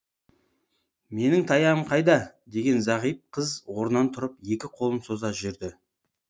менің таяғым қайда деген зағип қыз орынан тұрып екі қолын соза жүрді